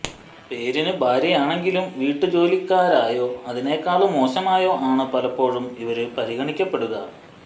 പേരിന് ഭാര്യയാണെങ്കിലും വീട്ടുജോലിക്കാരായോ അതിനേക്കാള് മോശമായോ ആണ് പലപ്പോഴും ഇവര് പരിഗണിക്കപ്പെടുക